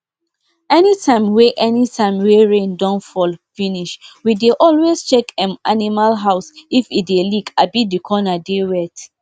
anytime wey anytime wey rain don fall finishwe dey always check dem animal house if e dey leak abi the corner dey wet